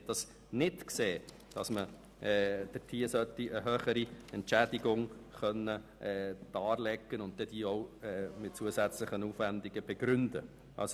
Man hat nicht eingesehen, dass man eine höhere Entschädigung darlegen und diese auch mit zusätzlichen Aufwendungen begründen soll.